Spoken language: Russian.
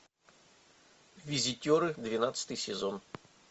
визитеры двенадцатый сезон